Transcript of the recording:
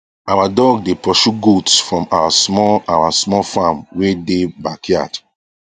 our dog dae pursue goats from our small our small farm wae dae backyard